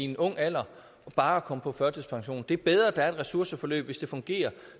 i en ung alder bare at komme på førtidspension det er bedre at der er et ressourceforløb hvis det fungerer